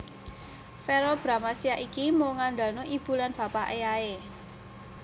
Verrel Bramastya ki mung ngandalno ibu lan bapake ae